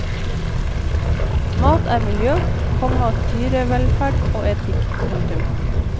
Mat er miljø, komma dyrevelferd og etikk. punktum